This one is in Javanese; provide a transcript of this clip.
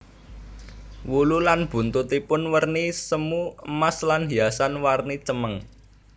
Wulu lan buntutipun werni semu emas lan hiasan warni cemeng